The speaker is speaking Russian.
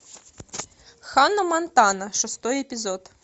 ханна монтана шестой эпизод